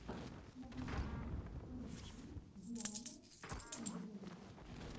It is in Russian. на ютюбе поищи диану хэндмэйд